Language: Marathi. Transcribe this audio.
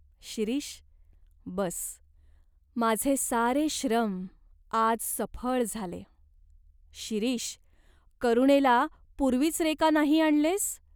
शिरीष, बस. माझे सारे श्रम आज सफळ झाले." "शिरीष, करुणेला पूर्वीच रे का नाही आणलेस ?